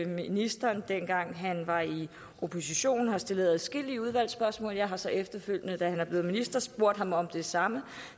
ministeren dengang han var i opposition stillede adskillige udvalgsspørgsmål og jeg har så efterfølgende da han blev minister spurgt ham om det samme